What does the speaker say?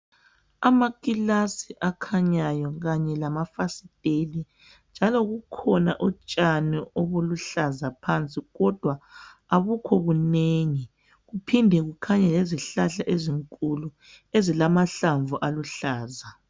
Amakilasi akakhanyayo kanye lama kulefasiteli njalo kukhona utshani obuluhlaza phansi kodwa abukho bunengi kuphinde kukhanye lezihlahla ezinkulu ezilamahlamvu aluhlanzi.